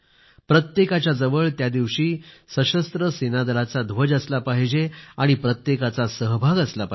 प्रत्येकाच्या जवळ त्या दिवशी सशस्त्र सेनादलाचा ध्वज असला पाहिजे आणि प्रत्येकाचा सहभाग असला पाहिजे